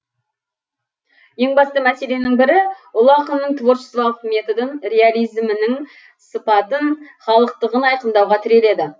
ең басты мәселенің бірі ұлы ақынның творчестволық методын реализмінің сыпатын халықтығын айқындауға тіреледі